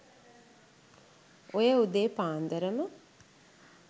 ඔය උදේ පාන්දරම